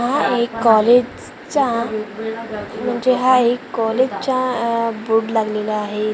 हा एक कॉलेज चा म्हणजे हा एक कॉलेजचा आह बोर्ड लागलेला आहे इथं --